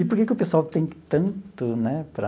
E por que que o pessoal tem tanto, né, para...